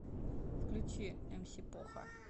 включи мс поха